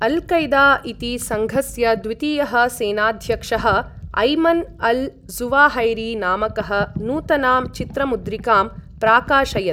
Al-Qaeda इति सङ्घस्य द्वितीयः सेनाध्यक्षः ऐमन् अल् ज़ुवाहैरी नामकः नूतनां चित्रमुद्रिकां प्राकाशयत्।